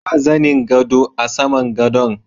Ba zanin gado a saman gadon.